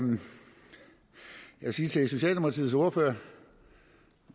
vil sige noget til socialdemokratiets ordfører